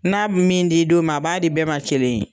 N'a bi min di don min a b'a di bɛɛ ma kelen ye.